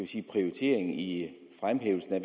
sige prioritering i fremhævelsen af